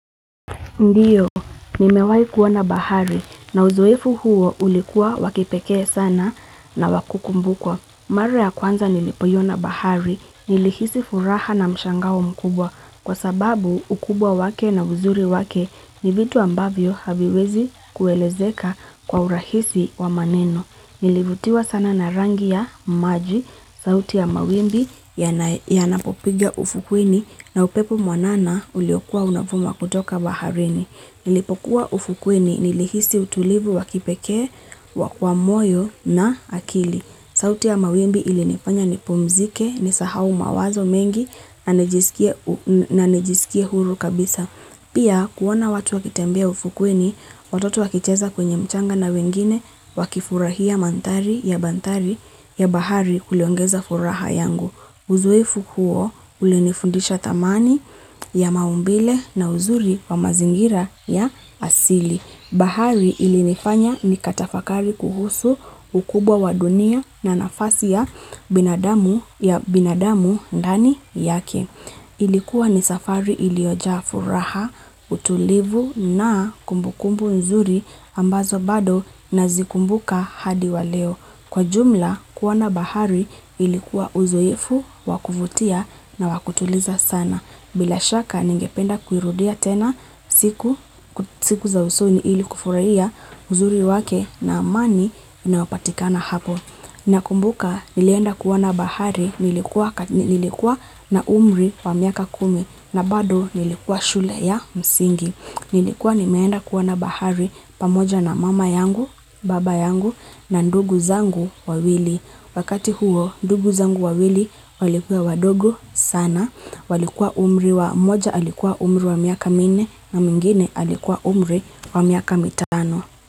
Ndiyo, nimewai kuona bahari na uzoefu huo ulikuwa wa kipekee sana na wa kukumbukwa. Mara ya kwanza nilipoiona bahari, nilihisi furaha na mshangao mkubwa kwa sababu ukubwa wake na uzuri wake ni vitu ambavyo haviwezi kuelezeka kwa urahisi wa maneno. Nilivutiwa sana na rangi ya maji, sauti ya mawimbi yanapopigia ufukweni na upepo mwanana uliokuwa unavuma kutoka baharini. Nilipokuwa ufukweni, nilihisi utulivu wa kipekee, wa kwa moyo na akili. Sauti ya mawimbi ilinifanya nipumzike, nisahau mawazo mengi, na nijisikie huru kabisa. Pia kuona watu wakitembea ufukweni, watoto wakicheza kwenye mchanga na wengine wakifurahia mandhari ya banthari ya bahari kuliongeza furaha yangu. Uzuefu huo ulinifundisha thamani ya maumbile na uzuri wa mazingira ya asili. Bahari ilinifanya ni katafakari kuhusu ukubwa wa dunia na nafasi ya binadamu ya binadamu ndani yake. Ilikuwa ni safari iliojaa furaha, utulivu na kumbu kumbu nzuri ambazo bado nazikumbuka hadi wa leo. Kwa jumla kuona bahari ilikuwa uzoefu, wa kuvutia na wakutuliza sana. Bila shaka ningependa kuirudia tena siku za usoni ili kufurahia uzuri wake na amani inaopatikana hapo. Nakumbuka nilienda kuona bahari nilikuwa na umri wa miaka kumi na bado nilikuwa shule ya msingi. Nilikuwa nimeenda kuona bahari pamoja na mama yangu, baba yangu na ndugu zangu wawili. Wakati huo ndugu zangu wa wili walikuwa wadogo sana. Walikuwa umri wa moja alikuwa umri wa miaka minne na mingine alikuwa umri wa miaka mitano.